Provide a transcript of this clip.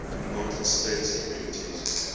united states communities